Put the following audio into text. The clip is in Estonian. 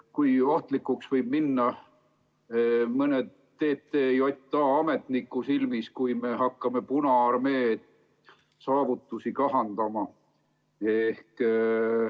Kui ohtlikuks võib minna mõne TTJA ametniku silmis see, kui me hakkame Punaarmee saavutusi kahandama?